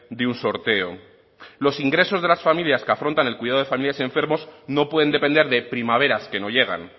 de un sorteo los ingresos de las familias que afrontan el cuidado de familiares y enfermos no pueden depender de primaveras que no llegan